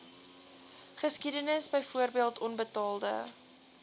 geskiedenis byvoorbeeld onbetaalde